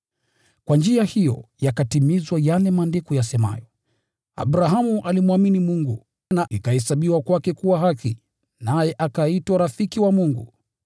Kwa njia hiyo yakatimizwa yale Maandiko yasemayo, “Abrahamu alimwamini Mungu na ikahesabiwa kwake kuwa haki,” naye akaitwa rafiki wa Mungu.